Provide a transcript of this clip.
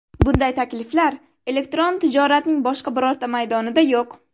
Bunday takliflar elektron tijoratning boshqa birorta maydonida yo‘q!